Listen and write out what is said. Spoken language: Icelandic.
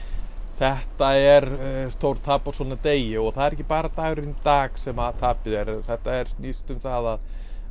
þetta er stórtap á svona degi og það er ekki bara dagurinn í dag sem að tapið er þetta snýst um það